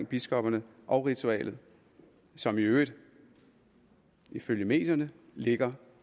biskopperne og ritualet som i øvrigt ifølge medierne ligger